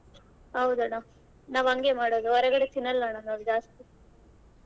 ಹೌದಣ್ಣ ನಾವ್ ಹಂಗೆ ಮಾಡೋದು ಹೊರಗಡೆದ ತಿನಲ್ಲಣ್ಣ ನಾವ್ ಜಾಸ್ತಿ.